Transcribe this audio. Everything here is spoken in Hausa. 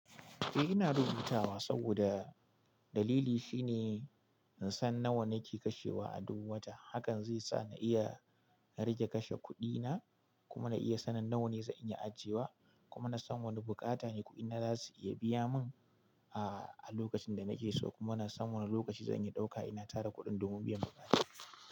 Eh ina rubutawa saboda dalili shine in san nawa nake kashewa a duk wata. Hakan zai sa na iya rage kashe kuɗina kuma na iya sanin nawane zan iya ajiyewa. Kuma na san wane bukata ne kuɗina za su iya biya min, ah, a lokacin da nake so. Kuma na san wane lokaci zan iya ɗauka ina tara kuɗin domin biyan bukatuna.